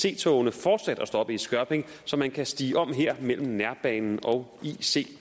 ic togene fortsat at stoppe i skørping så man kan stige om her mellem nærbanen og ic